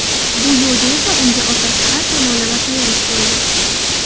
Bu yo‘lda esa unga otasi har tomonlama tayanch bo‘ldi.